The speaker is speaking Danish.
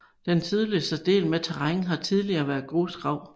Den sydligste del med terræn har tidligere været grusgrav